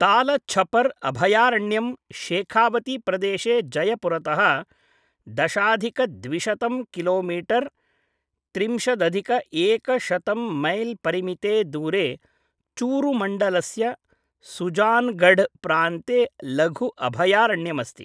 तालछपर् अभयारण्यं शेखावतीप्रदेशे जयपुरतः दशाधिक द्विसहस्रं किलोमीटर् त्रिंशद् अधिक एकशतं मैल् परिमिते दूरे चूरुमण्डलस्य सुजानगढ् प्रान्ते लघु अभयारण्यमस्ति।